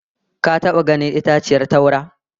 Ka taba ganin itaciyar taura?